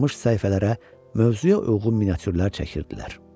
Qalmış səhifələrə mövzuya uyğun miniatürlər çəkirdilər.